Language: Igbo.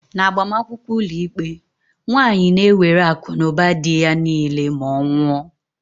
N'agbamakwụkwọ ụlọikpe, nwaanyi na-ewere akụnụba dị ya niile ma ọ nwụọ.